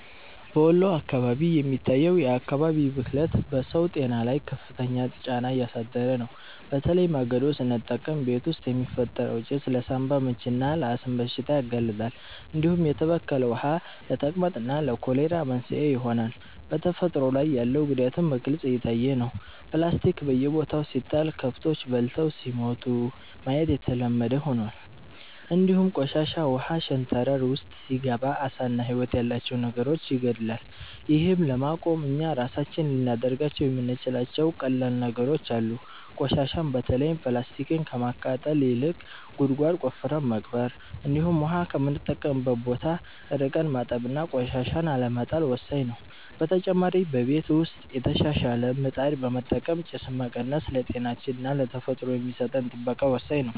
በወሎ አካባቢ የሚታየው የአካባቢ ብክለት በሰው ጤና ላይ ከፍተኛ ጫና እያሳደረ ነው፤ በተለይ ማገዶ ስንጠቀም ቤት ውስጥ የሚፈጠረው ጭስ ለሳንባ ምችና ለአስም በሽታ ያጋልጣል፣ እንዲሁም የተበከለ ውሃ ለተቅማጥና ለኮሌራ መንስኤ ይሆናል። በተፈጥሮ ላይ ያለው ጉዳትም በግልጽ እየታየ ነው፤ ፕላስቲክ በየቦታው ሲጣል ከብቶች በልተው ሲሞቱ ማየት የተለመደ ሆኗል፣ እንዲሁም ቆሻሻ ውሃ ሸንተረር ውስጥ ሲገባ ዓሳና ህይወት ያላቸው ነገሮችን ይገድላል። ይህን ለማቆም እኛ ራሳችን ልናደርጋቸው የምንችላቸው ቀላል ነገሮች አሉ፤ ቆሻሻን በተለይም ፕላስቲክን ከማቃጠል ይልቅ ጉድጓድ ቆፍረን መቅበር፣ እንዲሁም ውሃ ከምንጠቀምበት ቦታ ርቀን ማጠብና ቆሻሻን አለመጣል ወሳኝ ነው። በተጨማሪ በቤት ውስጥ የተሻሻለ ምጣድ በመጠቀም ጭስን መቀነስ ለጤናችንና ለተፈጥሮ የሚሰጠን ጥበቃ ወሳኝ ነው።